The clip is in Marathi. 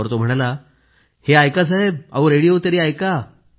यावर तो म्हणाला हे ऐका साहेब रेडिओ तरी ऐका